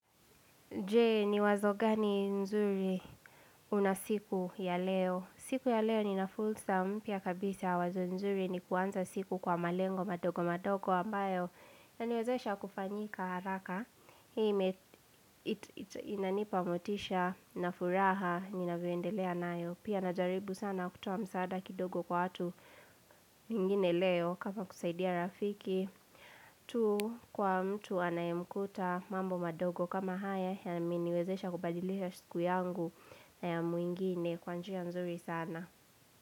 Jee, ni wazo gani nzuri una siku ya leo? Siku ya leo ninafulsa mpya kabisa wazo nzuri ni kuanza siku kwa malengo madogo madogo ambayo yaniwezesha kufanyika haraka, hii inanipa motisha na furaha ninavyoendelea nayo pia najaribu sana kutoa msaada kidogo kwa watu mingine leo kama kusaidia rafiki tu kwa mtu anayemkuta mambo madogo kama haya Yameniwezesha kubadilisha siku yangu na ya mwingine kwa njia nzuri sana.